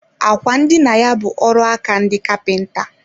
Àkwà ndina ya bu ọrụaka ndị kapinta